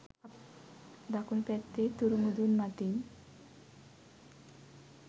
දකුණු පැත්තේ තුරු මුදුන් මතින්